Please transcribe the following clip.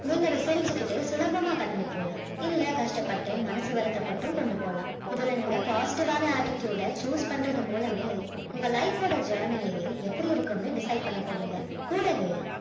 நீங்க அத சிரிச்சுக்கிட்டே சுலபமா கடந்து போலாம் இல்ல கஷ்டப்பட்டு மனசு வருத்தப்பட்டும் கொண்டு போலாம் இதுல நீங்க positive ஆன attitude அ choose பண்றது மூலமே உங்க life ஓட journey யையே எப்படி இருக்கும்னு decide பண்ண போறிங்க கூடவே